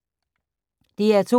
DR2